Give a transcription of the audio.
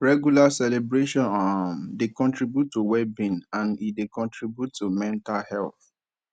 regular celebration um dey contribute to well being and e dey contribute to mental health